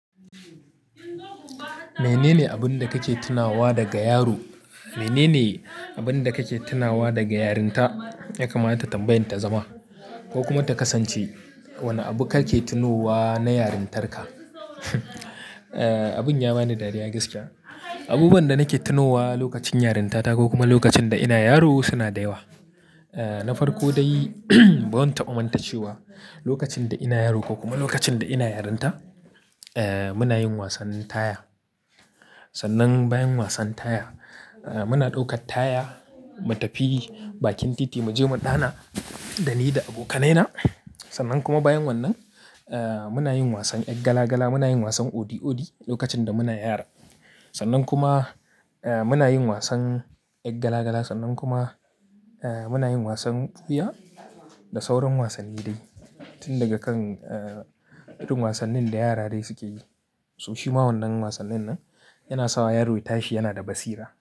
Mene ne abin da kake tunawa daga yaro? Mene ne abin da kake tunawa daga yarinta? Yakamata tambayan ta zama ko kuma ta kasance. Wane abu kake tonowa na yarintarka? Abin ya bani dariya gaskiya. Abubuwan da nake tonowa lokacin yarinta ta ko kuma lokacin da ina yaro suna da yawa. Na farko dai, bazan taba mantcewa, lokacin da ina yaro ko kuma lokacin da ina yarinta, muna yin wasan taya. Sannan bayan wasan taya, muna ɗaukar taya mu tafi bakin titi, mu je mu dana da ni da abokanaina. Sannan kuma bayan wannan, munayin wasan ƴan gala gala, muna yin wasan odi odi lokacin da muna yara. Sannan kuma muna yin wasan ƴan gala gala, sannan kuma muna yin wasan ɓuya da sauran wasanni dai. Tun daga kan irin wasannin da yara dai suke yi. So shima wannan wasannin nan yana sawa yaro ya tashi yana da basira.